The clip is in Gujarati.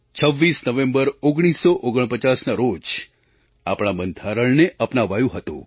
26 નવેમ્બર 1949ના રોજ આપણા બંધારણને અપનાવાયું હતું